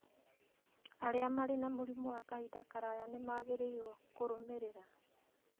Arĩa marĩ na mĩrimũ ya kahinda karaya nĩ magĩrĩirũo kũrũmĩrĩra